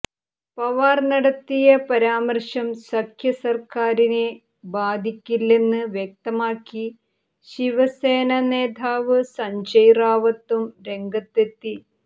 പവാർ നടത്തിയ പരാമർശം സഖ്യ സർക്കാരിനെ ബാധിക്കില്ലെന്ന് വ്യക്തമാക്കി ശിവസേനാ നേതാവ് സഞ്ജയ് റാവത്തും രംഗത്തെത്തി